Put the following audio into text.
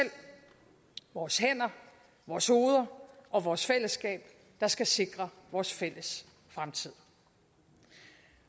vores hænder vores hoveder og vores fællesskab der skal sikre vores fælles fremtid